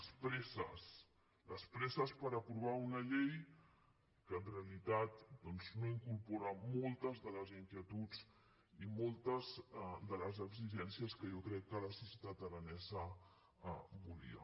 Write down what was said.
les presses les presses per apro·var una llei que en realitat doncs no incorpora moltes de les inquietuds i moltes de les exigències que jo crec que la societat aranesa volia